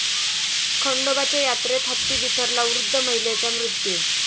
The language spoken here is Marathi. खंडोबाच्या यात्रेत हत्ती बिथरला, वृद्ध महिलेचा मृत्यू